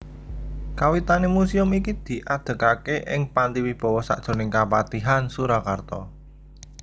Kawitané muséum iki diadegaké ing Panti Wibawa sajroning Kapatihan Surakarta